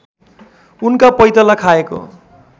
उनका पैताला खाएको